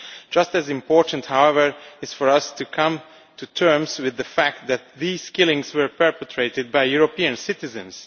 Just as important, however, is for us to come to terms with the fact that these killings were perpetrated by European citizens.